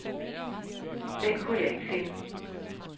Den kunne jeg ikke finde.